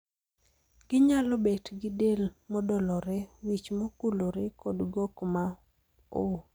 Ginyalo bet gi del modolore, wich mokulore kod gok ma oo.